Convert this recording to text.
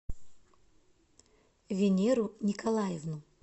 венеру николаевну